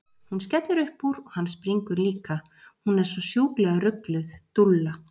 Hún skellir upp úr og hann springur líka, hún er svo sjúklega rugluð, dúlla!